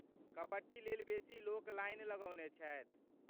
कबड्डी लेल बेसी लोक लाइन लगौने छथि।